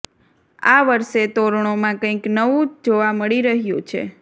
આ વર્ષે તોરણોમાં કંઇક નવુ જોવા મળી રહ્યુ છે